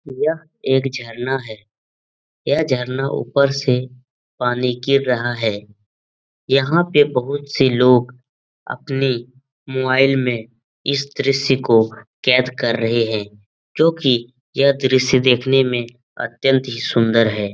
यह एक झरना है । यह झरना ऊपर से पानी गिर रहा है । यहाँ पे बहुत से लोग अपनी मोवाईल में इस दृश्य को कैद कर रहे हैं क्योंकि यह दृश्य देखने में अत्यंत ही सुंदर है ।